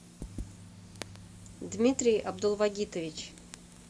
дмитрий абдулвагитович